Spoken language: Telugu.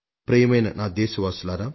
ప్రియమైన నా దేశ ప్రజలారా